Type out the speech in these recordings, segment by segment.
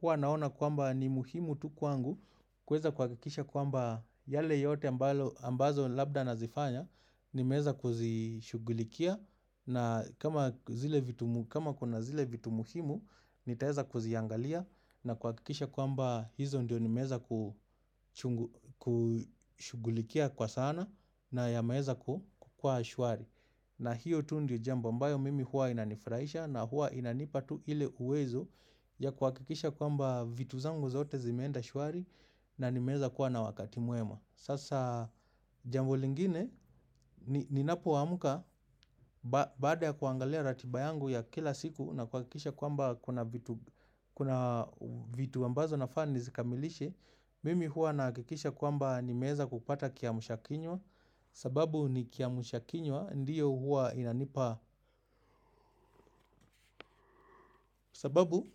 hua naona kwamba ni muhimu tu kwangu kuweza kuhakikisha kwamba yale yote ambayo labda nazifanya nimeweza kuzishugulikia na kama kuna zile vitu muhimu nitaweza kuziangalia na kuhakikisha kwamba hizo ndio nimeweza kushugulikia kwa sana na yameweza kuwa shwari. Na hiyo tu ndio jambo ambayo mimi huwa inanifurahisha na huwa inanipa tu ile uwezo ya kuhakikisha kwamba vitu zangu zote zimeenda shwari na niwemeza kuwa na wakati mwema. Sasa jambo lingine ni napoamka baada ya kuangalia ratiba yangu ya kila siku na kuhakisha kwamba kuna vitu ambazo nafaa nizikamilishe. Mimi hua nahakikisha kwamba nimeweza kupata kiamsha kinywa sababu ni kiamsha kinywa ndiyo huwa inanipa sababu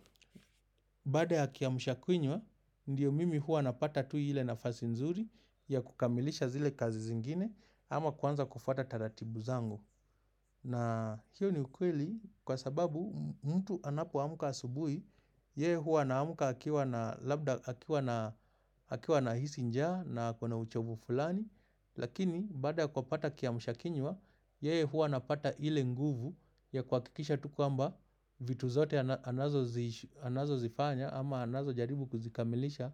baada ya kiamsha kinywa ndiyo mimi hua napata tu ile nafasi nzuri ya kukamilisha zile kazi zingine ama kuanza kufuata taratibu zangu. Na hiyo ni ukweli kwa sababu mtu anapoamka asubuhi yeye huwa anaamka akiwa na labda akiwa na hisi njaa na ako na uchovu fulani. Lakini baada kupata kiamsha kinywa, yeye huwa anapata ile nguvu ya kuhakikisha tu kwamba vitu zote anazozifanya au ama anazojaribu kuzikamilisha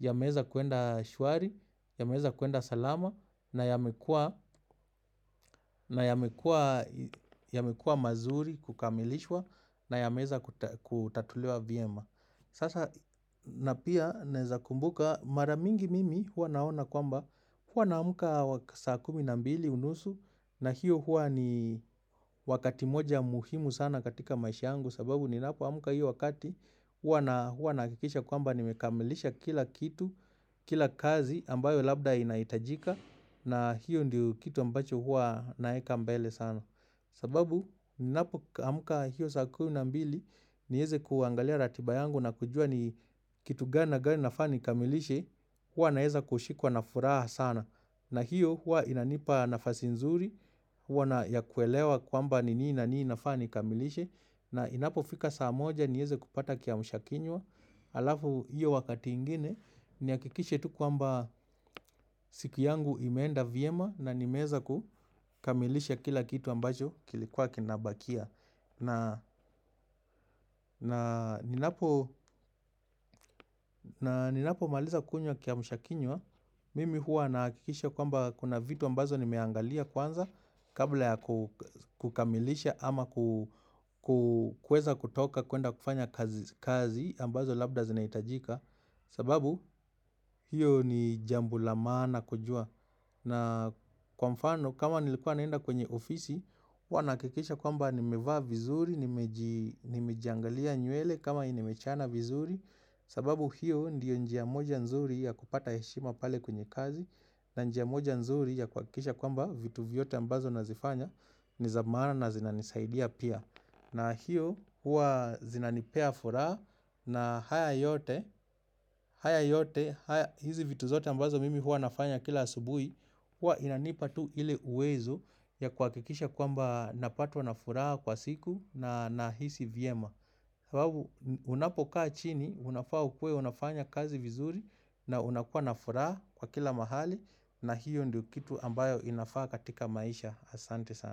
yameweza kuenda shwari, yameweza kuenda salama na yamekuwa yamekuwa mazuri kukamilishwa na yameweza kutatuliwa vyema na pia naweza kumbuka mara nyinigi mimi huwa naona kwamba huwa naamka saa kumi na mbili unusu na hiyo huwa ni wakati moja muhima sana katika maisha yangu sababu ninapoamka hiyo wakati, huwa nahakikisha kwamba nimekamilisha kila kitu, kila kazi ambayo labda inahitajika na hiyo ndio kitu ambacho huwa naweka mbele sana kwa sababu ninapoamka hiyo saa kumi na mbili niweze kuangalia ratiba yangu na kujua ni kitu gani na gani nafaa nikamilishe. Huwa naweza kushikwa na furaha sana na hiyo huwa inanipa nafasi nzuri ya kuelewa kwamba ni nini na nini nafaa nikamilishe na inapofika saa moja niweze kupata kiamsha kinywa alafu hiyo wakati ingine nihakikishe tu kwamba siku yangu imeenda vyema na nimeweza kukamilisha kila kitu ambacho kilikuwa kinabakia na ninapo maliza kunywa kiamsha kinywa mimi huwa nahakikisha kwamba kuna vitu ambazo nimeangalia kwanza kabla ya kukamilisha ama ku kuweza kutoka kuenda kufanya kazi ambazo labda zinahitajika kwa sababu hilo ni jambo la maana kujua na kwa mfano kama nilikua naenda kwenye ofisi nilikuwa nahakikisha kwamba nimevaa vizuri, nimejiangalia nywele kama nimechana vizuri sababu hiyo ndio njia moja nzuri ya kupata heshima pale kwenye kazi na njia moja nzuri ya kuhakikisha kwamba vitu vyote ambazo nazifanya ni za maana na zinanisaidia pia na hiyo huwa zinanipea furaha na haya yote na hizi vitu zote ambazo mimi huwa nafanya kila asubuhi huwa inanipa tu ile uwezo ya kuhakikisha kwamba napatwa na furaha kwa siku na nahisi vyema kwa sababu unapokaa chini, unafaa ukuwe unafanya kazi vizuri na unakuwa na furaha kwa kila mahali na hiyo ndiyo kitu ambayo inafaa katika maisha. Asante sana.